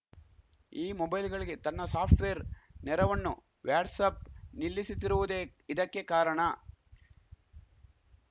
ಈ ಮೊಬೈಲ್‌ಗಳಿಗೆ ತನ್ನ ಸಾಫ್ಟ್‌ವೇರ್‌ ನೆರವಣ್ಣು ವ್ಯಾಟ್ಸ್‌ಆ್ಯಪ್‌ ನಿಲ್ಲಿಸುತ್ತಿರುವುದೇ ಇದಕ್ಕೆ ಕಾರಣ